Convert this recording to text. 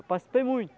Eu participei muito.